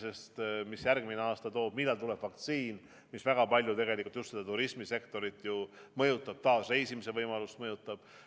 Me ei tea, mis järgmine aasta toob, millal tuleb vaktsiin, mis väga palju tegelikult turismisektorit mõjutab, taas reisimise võimalust mõjutab.